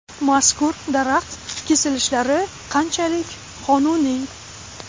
Mazkur daraxt kesilishlari qanchalik qonuniy?